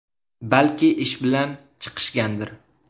Balki ish bilan chiqishgandir.